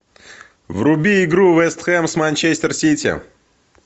вруби игру вест хэм с манчестер сити